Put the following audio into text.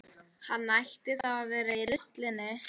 Hann ætti þá að vera í ruslinu.